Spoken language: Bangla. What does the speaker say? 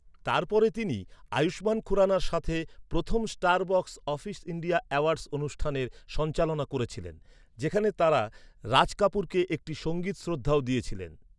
তারপরে তিনি আয়ুষ্মান খুরানার সাথে প্রথম Star Box Office India Awards অনুষ্ঠানের সঞ্চালনা করেছিলেন, যেখানে তাঁরা রাজ কাপুরকে একটি সংগীত শ্রদ্ধাও দিয়েছিলেন।